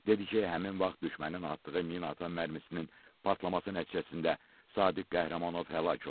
Dedi ki, həmin vaxt düşmənin atdığı minaatan mərmisinin partlaması nəticəsində Sadıq Qəhrəmanov həlak olub.